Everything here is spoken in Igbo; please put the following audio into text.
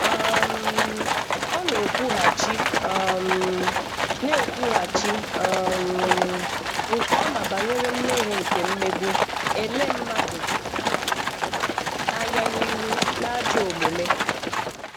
um Ọ na-ekwughachi um na-ekwughachi um nke ọma banyere mmehie nke mmegbu, ele mmadụ anya n'ihu, na ajọ omume.